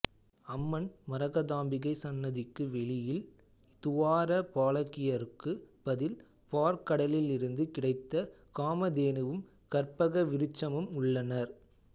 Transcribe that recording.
அம்மன் மரகதாம்பிகை சன்னதிக்கு வெளியில் துவார பாலகியருக்கு பதில் பாற்கடலிலிருந்து கிடைத்த காமதேனுவும் கற்பகவிருட்சமும் உள்ளனர்